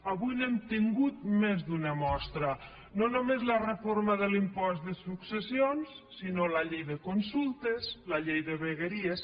avui n’hem tingut més d’una mostra no només la reforma de l’impost de successions sinó la llei de consultes la llei de vegueries